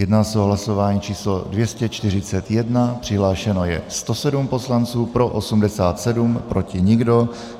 Jedná se o hlasování číslo 241, přihlášeno je 107 poslanců, pro 87, proti nikdo.